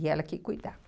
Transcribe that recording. E ela que cuidava.